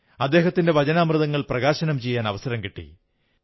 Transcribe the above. അദ്ദേഹത്തിന്റെ വചനാമൃതങ്ങൾ പ്രകാശനം ചെയ്യാൻ അവസരം കിട്ടി